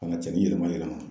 Ka na cɛnin yɛlɛma yɛlɛma.